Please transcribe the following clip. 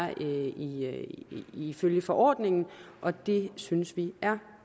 ifølge forordningen og det synes vi er